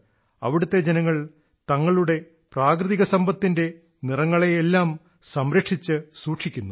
അവിടത്തെ ജനങ്ങൾ തങ്ങളുടെ പ്രാകൃതിക സമ്പത്തിന്റെ നിറങ്ങളെയെല്ലാം സംരക്ഷിച്ചു സൂക്ഷിക്കുന്നു